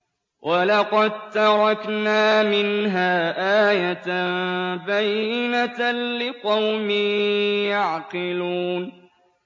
وَلَقَد تَّرَكْنَا مِنْهَا آيَةً بَيِّنَةً لِّقَوْمٍ يَعْقِلُونَ